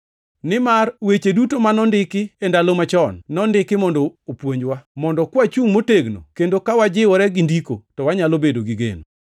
Nimar weche duto ma nondiki e ndalo machon, nondiki mondo opuonjwa, mondo kwachungʼ motegno kendo ka wajiwore gi Ndiko, to wanyalo bedo gi geno.